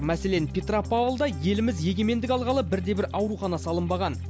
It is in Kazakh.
мәселен петропавлда еліміз егемендік алғалы бірде бір аурухана салынбаған